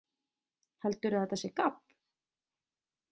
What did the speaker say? Heldurðu að þetta sé gabb?